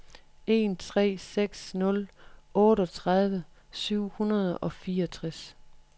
en tre seks nul otteogtredive syv hundrede og fireogtres